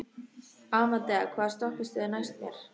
Amadea, hvaða stoppistöð er næst mér?